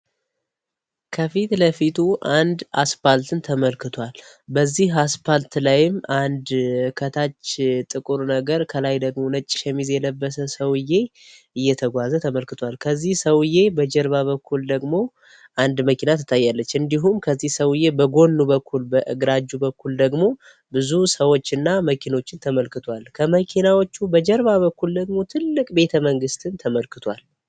አስፓልትን ተመልክቷል በዚህ ፓርት ላይም አንድ ከታች ጥቁር ነገር ከላይ ደግሞ የለበሰ ሰውዬ እየተጓዘ ተመልክቷል ከዚህ ሰዉዬ በጀርባ በኩል ደግሞ አንድ መኪና ትታያለች እንዲሁም ከዚህ ሰውዬ በኩል በእግራችሁ በኩል ደግሞ ብዙ ሰዎች እና መኪኖችን ተመልክቷል ከመኪናዎቹ በጀርባ በኩል ደግሞ ትልቅ ቤተ መንግስትም ተመልክቷል